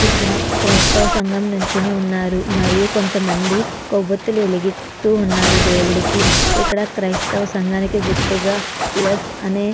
ఇక్కడ క్రైస్తవ సంఘం నించుని ఉన్నారు మరియు కొంతమంది కొవ్వొత్తిలు వెలిగిస్తు ఉన్నారు దేవుడికి ఇక్కడ క్రైస్తవ సంఘానికి గుర్తుగా ప్లస్ అనే --